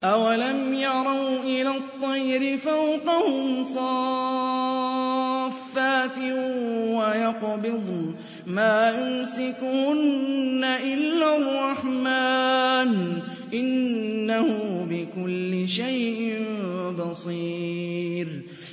أَوَلَمْ يَرَوْا إِلَى الطَّيْرِ فَوْقَهُمْ صَافَّاتٍ وَيَقْبِضْنَ ۚ مَا يُمْسِكُهُنَّ إِلَّا الرَّحْمَٰنُ ۚ إِنَّهُ بِكُلِّ شَيْءٍ بَصِيرٌ